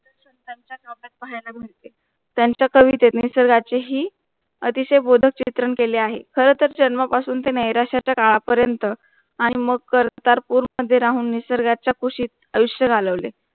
पाहायला मिळते त्यांचा कवीतेत निसर्गाची ही अतिशय बोधक चित्रण केले आहे. खरंतर जन्म पासून ते नैराश्याच्या काळापर्यंत आणि मग कर्तारपूर मध्ये राहून निसर्गाच्या कुशीत आयुष्य घालवले